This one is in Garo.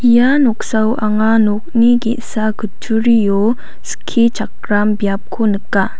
ia noksao anga nokni ge·sa kutturio skichakram biapko nika.